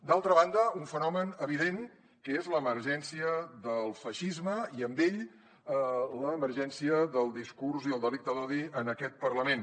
d’altra banda un fenomen evident que és l’emergència del feixisme i amb ell l’emergència del discurs i el delicte d’odi en aquest parlament